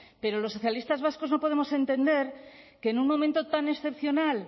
pero los socialistas vascos no podemos entender que en un momento tan excepcional